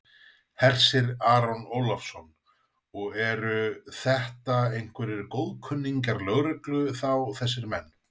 Hersir Aron Ólafsson: Og eru þetta einhverjir góðkunningjar lögreglu þá þessir menn?